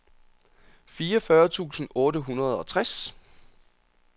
fireogfyrre tusind otte hundrede og tres